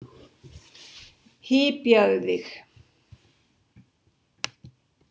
Hypjaðu þig!